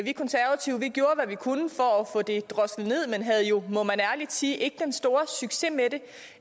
vi konservative gjorde hvad vi kunne for at få det droslet ned men havde jo må man ærligt sige ikke den store succes med